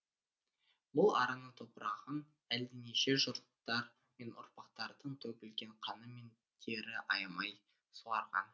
бұл араның топырағын әлденеше жұрттар мен ұрпақтардың төгілген қаны мен тері аямай суарған